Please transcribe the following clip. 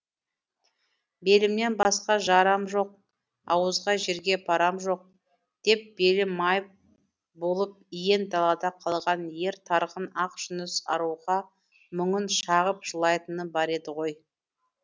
белімнен басқа жарам жоқ ауызға жерге парам жоқ деп белі майып болып иен далада қалған ер тарғын ақжүніс аруға мұңын шағып жылайтыны бар еді ғой